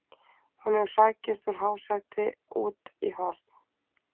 Hún hefur hrakist úr hásæti út í horn.